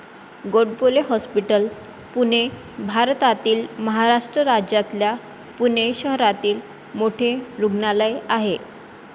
Godbole hospital, Pune भारतातील महाराष्ट्र राज्यातल्या पुणे शहरातील मोठे रुग्णालय आहे.